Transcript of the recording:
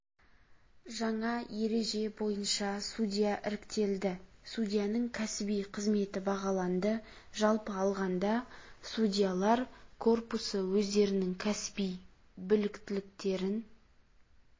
жаңа ереже бойынша судья іріктелді судьяның кәсіби қызметі бағаланды жалпы алғанда судьялар корпусы өздерінің кәсіби біліктіліктерін